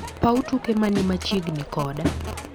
Paw tuke mani machiegni koda